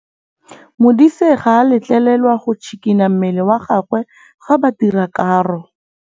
Modise ga a letlelelwa go tshikinya mmele wa gagwe fa ba dira karô.